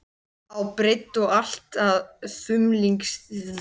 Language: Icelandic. á breidd og allt að þumlungsþykkir.